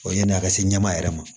O ye yanni a ka se ɲɛmɔ yɛrɛ ma